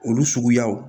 Olu suguyaw